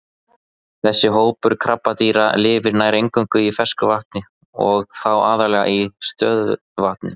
Þessi hópur krabbadýra lifir nær eingöngu í fersku vatni og þá aðallega í stöðuvötnum.